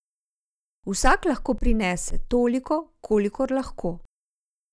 Vsak lahko prinese toliko, kolikor lahko.